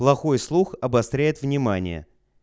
плохой слух обостряет внимание